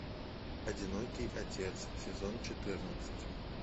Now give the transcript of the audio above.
одинокий отец сезон четырнадцать